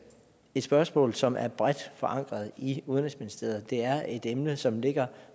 et spørgsmål som er bredt forankret i udenrigsministeriet det er et emne som ligger